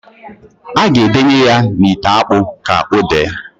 A ga edenye ya n'ite akpụ k' odee.